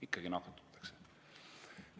Ikkagi nakatutakse.